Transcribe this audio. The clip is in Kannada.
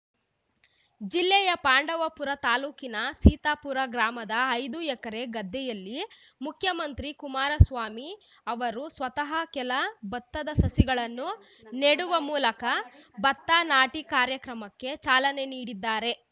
ಜಿಲ್ಲೆಯ ಪಾಂಡವಪುರ ತಾಲೂಕಿನ ಸೀತಾಪುರ ಗ್ರಾಮದ ಐದು ಎಕರೆ ಗದ್ದೆಯಲ್ಲಿ ಮುಖ್ಯಮಂತ್ರಿ ಕುಮಾರಸ್ವಾಮಿ ಅವರು ಸ್ವತಃ ಕೆಲ ಭತ್ತದ ಸಸಿಗಳನ್ನು ನೆಡುವ ಮೂಲಕ ಭತ್ತ ನಾಟಿ ಕಾರ್ಯಕ್ರಮಕ್ಕೆ ಚಾಲನೆ ನೀಡಿದ್ದಾರೆ